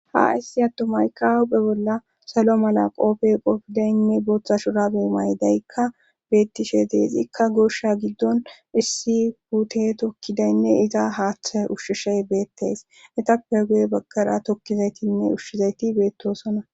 Ha issi atomayka awu be bolla salo mala qopfey qofidaynne booththa shurabe maydaykka beettishe deezikka gosha giddon issi huute tokkidaynne iza haaththe ushshishey beetteys etappe goye baggara tokkizaytinne ushshizayti beettosona.